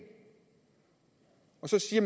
og så siger